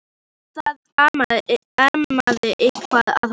En það amaði eitthvað að honum.